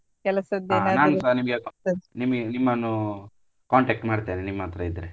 ನಿಮ್ಗೆ ನಿಮನ್ನು contact ಮಾಡ್ತೇನೆ ನಿಮ್ ಹತ್ರ ಇದ್ರೆ.